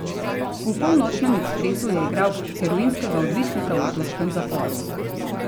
V Polnočnem ekspresu je igral heroinskega odvisnika v turškem zaporu.